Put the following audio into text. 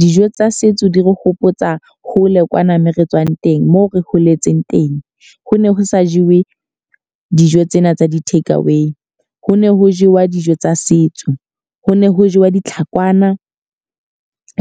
Dijo tsa setso di re hopotsa hole kwana moo re tswang teng, moo re holetseng teng. Ho ne ho sa jewe dijo tsena tsa di-take away. Ho ne ho jewa dijo tsa setso. Ho ne ho jewa ditlhakwana,